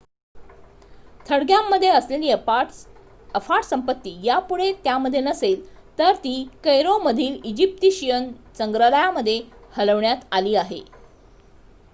थडग्यांमध्ये असलेली अफाट संपत्ती यापुढे त्यामध्ये नसेल तर ती कैरोमधील इजिप्शियन संग्रहालयामध्ये हलवण्यात आली आहे